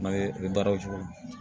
N'a ye i bɛ baara o cogo la